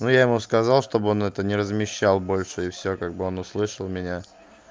ну я ему сказал чтобы он это не размещал больше и всё как бы он услышал меня